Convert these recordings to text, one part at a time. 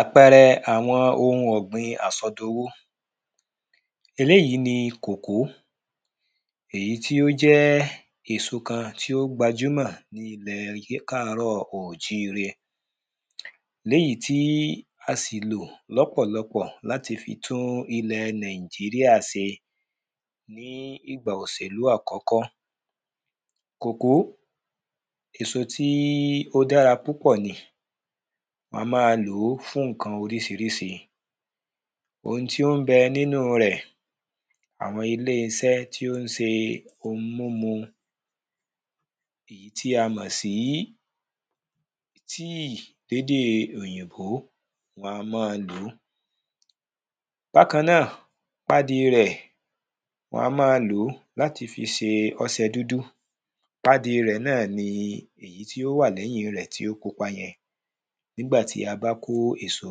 Àpẹrẹ àwọn ohun ọ̀gbìn àsọdowó. Eléèyí ni kòkó èyí tí ó jẹ́ èso kan tí ó gbajúmọ̀ ní ilẹ̀ káàrọ́ òjíre. Léèyí tí a sì lò lọ́pọ̀lọpọ̀ láti fi tún ilẹ̀ nàíjíríà ṣe ní ìgbà òsèlú àkọ́kọ́. Kòkó èso tí ó dára púpọ̀ ni a má lòó fún nǹkan oríṣiríṣi. Ohun tí ó ń bẹ nínú rẹ̀ àwọn ilé iṣẹ́ tí ó ń se ohun mímu tí a mọ̀ sí tíì lédè òyìnbó wọn a mọ́ lòó. Bákan náà padì rẹ̀ wọn a má lòó láti fi se ọsẹ dúdú padì rẹ̀ náà ni tí ó wà lẹ́yìn rẹ̀ tí ó pupa yẹn nígbà tí a bá kó èso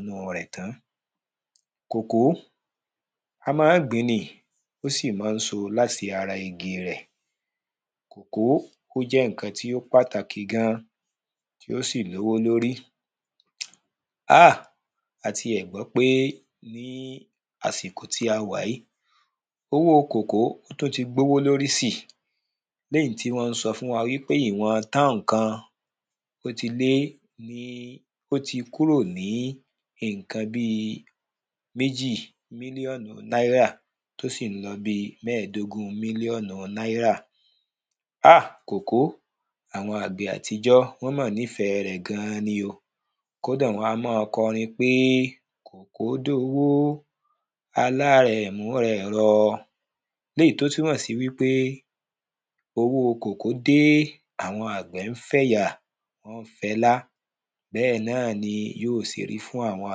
inú rẹ̀ tán. Kòkó a má ń gbìn ni ó sì má ń so láti ara igi rẹ̀. Kòkó ó jẹ́ nǹkan tí ó pàtàkì gan tí ó sì lówó lórí. Á a ti ẹ̀ gbọ́ pé àsìkò tí a wà yìí owó kòkó tún ti gbówó lórí sí léyìí tí wọ́n ń sọ fún wa pé ìwọ̀n táùn kan ó ti lé ní ó ti kúrò ní nǹkan bí méjì mílíọ̀nù náírà tó sì ń lọ bí mẹ́dògún mílíọ̀nù náírà. Á kòkó àwọn àgbẹ̀ àtijọ́ wọ́n mọ̀ nífẹ̀ẹ́ rẹ̀ gan ni o kódà wọn a mọ́ kọrin pé kòkó dowó alárẹ̀ múra ẹ̀ rọ léyìí tó túnmọ̀ sí wípé owó kòkó dé àwọn àgbẹ̀ ń fẹ̀ yà fẹlá bẹ́ẹ̀ náà ni yó ṣe rí fún àwọn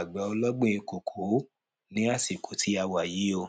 àgbẹ̀ ọlọ́gbìn kòkó ní àsìkò tí a wà yìí o.